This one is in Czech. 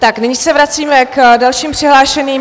Tak nyní se vracíme k dalším přihlášeným.